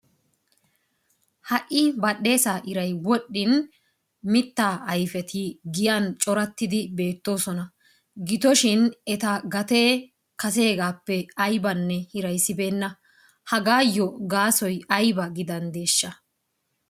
Ha"i badhdheesaa iray wodhdhin mittaa ayfeti giyan corattidi beettoosona. Gidoshin eta gatee kaseegaappe aybanne hiraysibeenna. Hagaayyo gaasoy ayba gidanddeeshsha?